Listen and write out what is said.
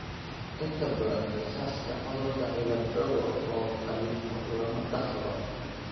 Inta badan kiisaska cudurka cilaad dogo oo galifo lama dhaxlo.